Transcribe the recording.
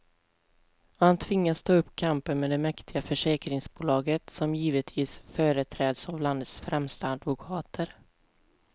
Och han tvingas ta upp kampen med det mäktiga försäkringsbolaget, som givetvis företräds av landets främsta advokater.